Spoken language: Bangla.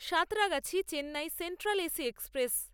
Santragachi Chennai central AC express